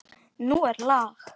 Nú er lag!